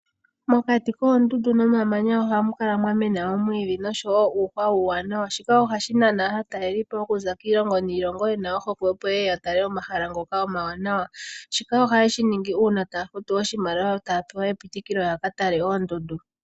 Mokati koondundu nomamanya ohamu kala mwa mena oomwiidhi osho woo uuhwa uuwanawa, shika ohashi nana aataleliipo oku za kiilongo niilongo, yena ohokwe opo ye ye yatale omahala ngoka omawanawa, shika ohaye shi ningi uuna taya futu oshimaliwa yo taya pewa epitikilo yaka tale oondundu.